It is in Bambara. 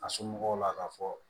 A somɔgɔw la k'a fɔ